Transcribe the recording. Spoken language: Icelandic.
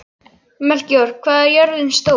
Melkíor, hvað er jörðin stór?